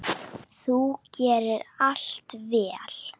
Þú gerðir allt vel.